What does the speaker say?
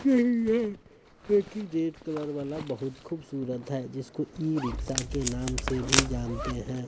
की red colour वाला बहुत खूबसूरत है जिसको ई रिक्शा के नाम से भी जानते हैं।